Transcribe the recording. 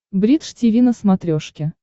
бридж тиви на смотрешке